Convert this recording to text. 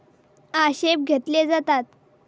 आक्षेप घेतले जातात.